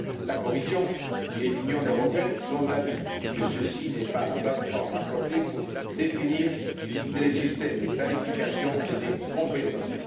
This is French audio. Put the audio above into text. La Commission et l'Union européenne sont d'avis que ceci n'est pas la plate forme appropriée pour définir des systèmes de tarification et de compensation.